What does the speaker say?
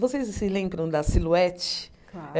Vocês se lembram da Silhouette? Claro